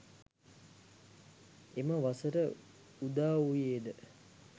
එම වසර උදාවූයේද